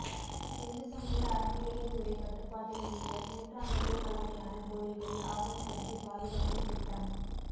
இந்து சமய அறநிலையத்துறை கட்டுபாட்டில் உள்ள நூற்றாண்டுகள் பழமையான கோயில்களை ஆவணப்படுத்தி பாதுகாக்கும் திட்டம்